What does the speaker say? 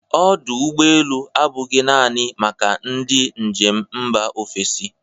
Ọdụ ụgbọ elu abụghị naanị maka ndị njem mba ofesi.